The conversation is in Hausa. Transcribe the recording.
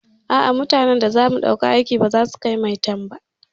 A'a, mutanan da zamu ɗauka aiki baza su kai maitan ba.